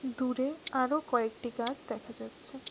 দূরে আরও কয়েকটি গাছ দেখা যাচ্ছে।